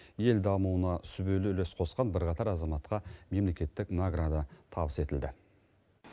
ел дамуына сүбелі үлес қосқан бірқатар азаматқа мемлекеттік награда табыс етілді